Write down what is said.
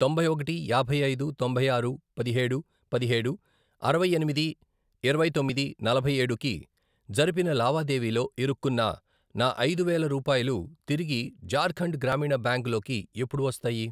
తొంభై ఒకటి, యాభై ఐదు, తొంభై ఆరు, పదిహేడు, పదిహేడు, అరవై ఎనిమిది, ఇరవై తొమ్మిది, నలభై ఏడు, కి జరిపిన లావాదేవీలో ఇరుక్కున్న నా ఐదు వేలు రూపాయలు తిరిగి ఝార్ఖండ్ గ్రామీణ బ్యాంక్ లోకి ఎప్పుడు వస్తాయి?